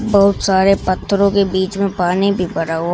बहुत सारे पत्थरों के बीच में पानी भी पड़ा हुआ--